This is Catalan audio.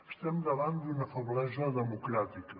estem davant d’una feblesa democràtica